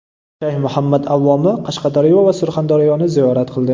Shayx Muhammad Avvoma Qashqadaryo va Surxondaryoni ziyorat qildi .